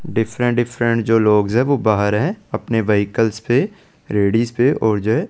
Different different जो लग है वो बहार है अपने व्हीकल्स रेडिस पे और जो है।